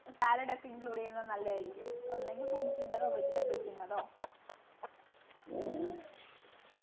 salad ഒക്കെ include ചെയ്യുന്നത് നല്ലതായിരിക്കും ഒന്നുകിൽ fruits ൻ്റെതോ vegetables ൻ്റെതോ